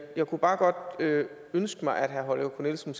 jeg kunne bare godt ønske mig at herre holger k nielsen